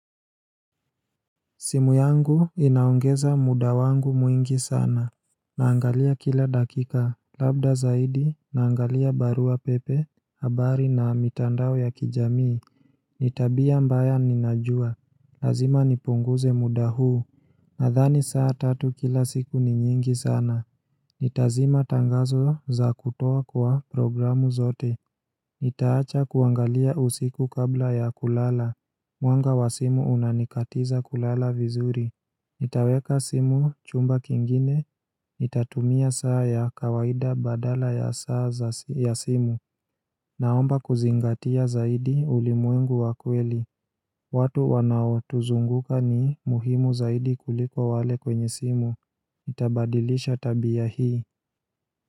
Simu yangu inaongeza muda wangu mwingi sana Naangalia kila dakika, labda zaidi naangalia barua pepe, habari na mitandao ya kijamii ni tabia mbaya ninajua, lazima nipunguze muda huu nadhani saa tatu kila siku ni nyingi sana Nitazima tangazo za kutoa kwa programu zote nitaacha kuangalia usiku kabla ya kulala Mwanga wa simu unanikatiza kulala vizuri Nitaweka simu chumba kingine, nitatumia saa ya kawaida badala ya saa ya simu Naomba kuzingatia zaidi ulimwengu wa kweli watu wanaotuzunguka ni muhimu zaidi kuliko wale kwenye simu Itabadilisha tabia hii.